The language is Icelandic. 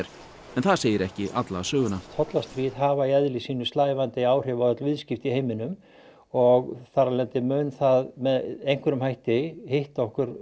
en það segir ekki alla söguna tollastríð hafa í eðli sínu slævandi áhrif á öll viðskipti í heiminum og þar af leiðandi mun það með einhverjum hætti hitta okkur